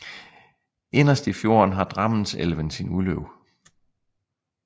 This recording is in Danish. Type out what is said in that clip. Inderst i fjorden har Drammenselven sit udløb